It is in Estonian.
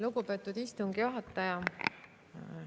Lugupeetud istungi juhataja!